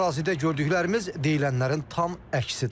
Ərazidə gördüklərimiz deyilənlərin tam əksidir.